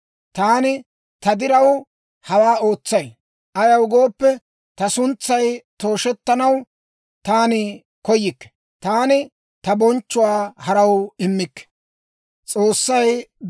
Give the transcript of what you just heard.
Taani ta diraw, hawaa ootsay. Ayaw gooppe, ta suntsay tooshettanaw taani koyikke. Taani ta bonchchuwaa haraw immikke.